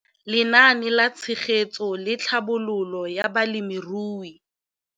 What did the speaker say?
Lenaane la Tshegetso le Tlhabololo ya Balemirui.